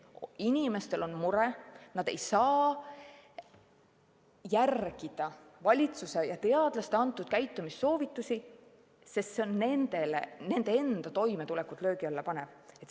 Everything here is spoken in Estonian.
Inimestel on mure, et nad ei saa järgida valitsuse ja teadlaste antud käitumissoovitusi, sest need panevad nende enda toimetuleku löögi alla.